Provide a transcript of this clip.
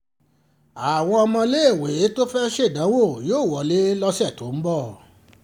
àwọn ọmọléèwé tó fẹ́ẹ́ ṣèdánwò yóò wọlé lọ́sẹ̀ tó ń bọ̀